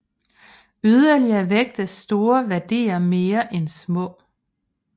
Yderligere vægtes store værdier mere end små